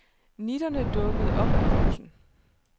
Nitterne dukkede op af posen.